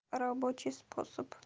рабочий способ